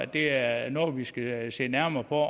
det er noget vi skal se nærmere på